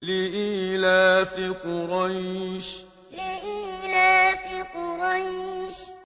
لِإِيلَافِ قُرَيْشٍ لِإِيلَافِ قُرَيْشٍ